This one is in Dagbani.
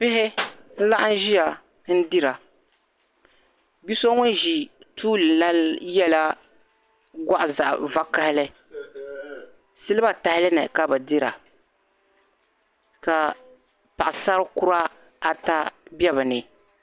Bihi n-laɣim ʒia n-dira. Bi' so ŋun ʒi tuuli la yɛla gɔɣili zaɣ' vakahili. Siliba tahali ni ka bɛ dira ka paɣisar' kura ata be bɛ ni.